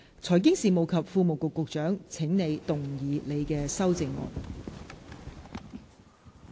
財經事務及庫務局局長，請動議你的修正案。